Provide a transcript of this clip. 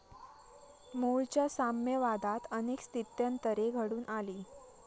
मुळच्या साम्यवादात अनेक स्थित्यंतरे घडून आली.